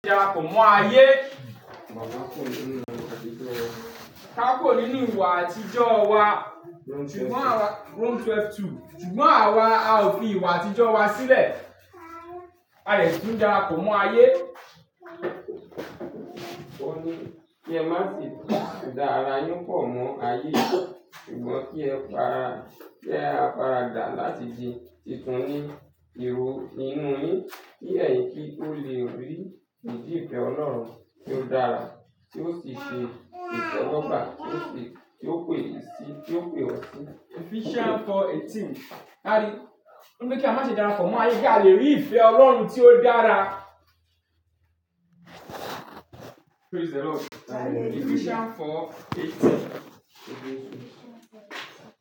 Dara pọ̀ mọ́ ayé. Gbàwá kuro ní nu ìwà àtijọ́ wa. Ká kò ní ní ìwà àtijọ́ wa. Sùgbọ́n àwá, Sùgbọ́n àwá a ò fi ìwà àtijọ́ wa sílẹ̀, à dẹ̀ tún darapọ̀ mọ́ ayé. O ní kí ẹ má fi dá arà yín pọ̀ mọ́ ayé, sùgbọ́n kí ẹ pàra kí ẹ àpará dà láti di titun ní iro inú yín, kí ẹ̀yin kí ó lè rí ìjì ìfẹ́ ọlọ́run tí ó dára, tí ó sì ṣe ìtewo gba, tí ó sì tí ó pé yin sì tí ó pé ọ̀ sì. Ephesians four eighteen. Á rí, ó ní pé kí a má ṣe darapọ̀ mọ́ ayé, kí a lè rí ìfẹ́ ọlọ́run tí ó dára. Praise the Lord. Ephesians four eighteen.